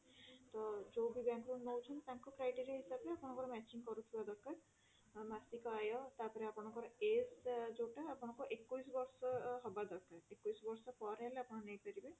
ତ ଯୋଉ ବି bank ରୁ ନଉଛନ୍ତି ତାଙ୍କ criteria ହିସାବରେ ଆପଣଙ୍କର matching କରୁଥିବା ଦରକାର ମାସିକ ଆୟ ତାପରେ ଆପଣଙ୍କର age ଯୋଊଟା ଏକୋଇଶି ବର୍ଷ ହବା ଦରକାର ଏକୋଇଶି ବର୍ଷ ପରେ ହେଲେ ଆପଣ ନେଇପାରିବେ